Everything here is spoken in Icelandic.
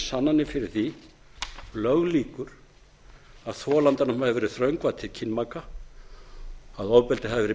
sannanir fyrir því löglíkur að þolandanum hafi verið þröngvað til kynmaka að ofbeldi hafi verið beitt